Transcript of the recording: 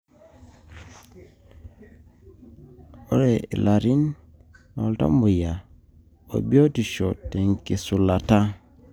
ore ilarin lontamoyiai, obiotisho tenkitushulata.